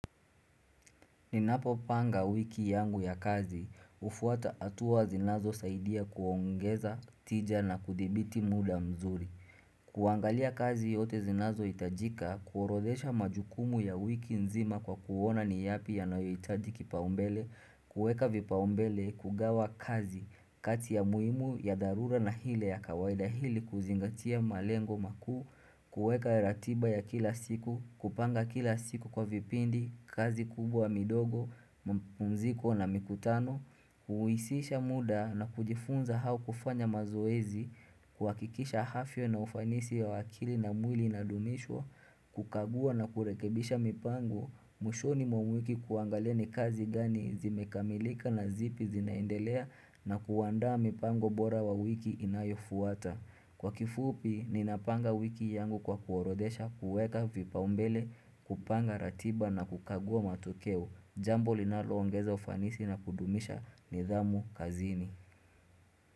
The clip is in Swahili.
Ninapopanga wiki yangu ya kazi, hufuata hatuwa zinazosaidia kuongeza, tija na kudhibiti muda mzuri. Kuangalia kazi yote zinazohitajika, kuorodhesha majukumu ya wiki nzima kwa kuona ni yapi yanayohitaji kipaumbele, kuweka vipaumbele, kugawa kazi kati ya muhimu, ya dharura na ile ya kawaida ili kuzingatia malengo makuu kuweka ratiba ya kila siku, kupanga kila siku kwa vipindi, kazi kubwa, midogo, mapumziko na mikutano Huuisisha muda na kujifunza au kufanya mazoezi kuhakikisha afya na ufanisi wa akili na mwili inadumishwa kukagua na kurekebisha mipango mwishoni mwa mwiki kuangalia ni kazi gani zimekamilika na zipi zinaendelea na kuaanda mipango bora wa wiki inayofuata Kwa kifupi, ninapanga wiki yangu kwa kuorodesha, kuweka vipaumbele, kupanga ratiba na kukagua matokeo. Jambo linaloongeza ufanisi na kudumisha nidhamu kazini.